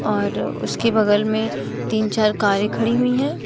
और उसके बगल में तीन चार कारे खड़ी हुई है।